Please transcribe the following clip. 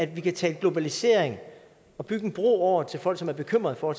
vi kan tale globalisering og bygge en bro over til folk som er bekymrede for